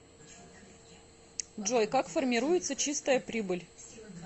джой как формируется чистая прибыль